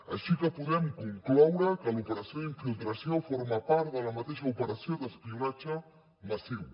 així que podem concloure que l’operació d’infiltració forma part de la mateixa operació d’espionatge massiu